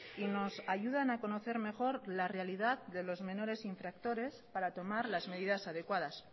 y nos ayudan a conocer mejor la realidad de los menores infractores para tomar las medidas adecuadas